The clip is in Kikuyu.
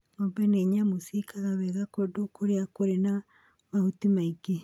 Ng'ombe nĩ nyamũ ciekaga wega kũndũ kũrĩa kũrĩ na mahuti maingĩ.